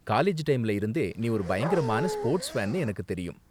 College டைம்ல இருந்தே நீ ஒரு பயங்கரமான ஸ்போர்ட்ஸ் ஃபேன்னு எனக்கு தெரியும்.